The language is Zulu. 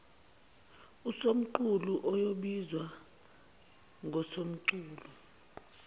usomqulu oyobizwa ngosomqulu